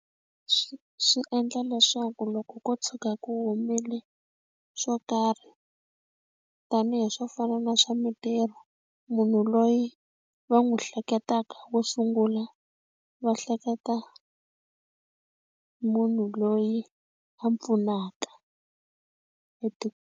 Swi swi endla leswaku loko ko tshuka ku humile swo karhi tanihi swo fana na swa mitirho munhu loyi va n'wi hleketaka wo sungula va hleketa munhu loyi a pfunaka.